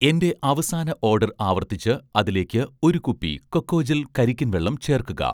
എന്‍റെ അവസാന ഓഡർ ആവർത്തിച്ച് അതിലേക്ക് ഒരു കുപ്പി 'കൊക്കോജെൽ' കരിക്കിൻ വെള്ളം ചേർക്കുക